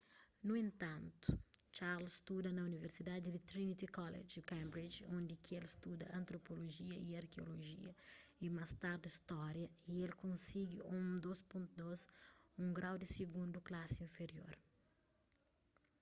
nu entantu charles studa na universidadi di trinity college cambridge undi ki el studa antropolojia y arkeolojia y más tardi stória y el konsigi un 2:2 un grau di sigundu klasi inferior